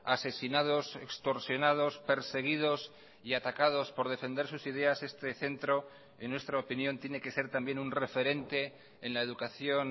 asesinados extorsionados perseguidos y atacados por defender sus ideas este centro en nuestra opinión tiene que ser también un referente en la educación